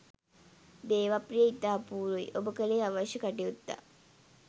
දේවප්‍රිය ඉතා අපූරුයි ඔබ කළේ අවශ්‍ය කටයුත්තක්.